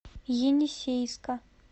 енисейска